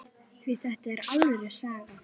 Því þetta er alvöru saga.